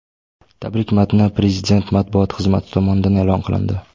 Tabrik matni Prezident matbuot xizmati tomonidan e’lon qilindi .